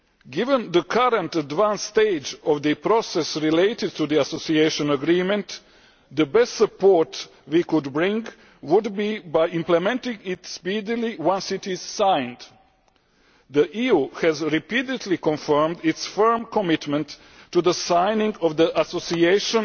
Given the current advanced stage of the process related to the Association Agreement, the best support we could bring would be by implementing it speedily once it is signed. The EU has repeatedly confirmed its firm commitment to the signing of the Association